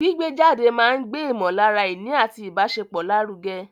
Gbígbé jáde máa ń gbé ìmọ̀lára ìní àti ìbáṣepọ̀ lárugẹ.